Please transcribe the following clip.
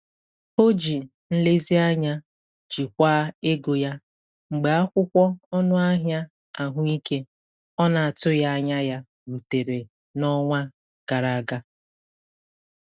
O ji nlezianya jikwaa ego ya mgbe akwụkwọ ọnụ ahịa ahụike ọ na-atụghị anya ya rutere n'ọnwa gara aga.